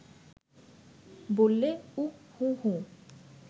বললে, উঃ হুঁহুঁ